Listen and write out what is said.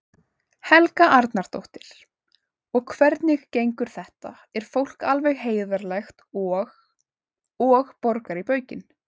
Helga Arnardóttir: Og hvernig gengur þetta, er fólk alveg heiðarlegt og, og borgar í baukinn?